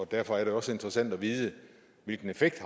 derfor er det også interessant at vide hvilken effekt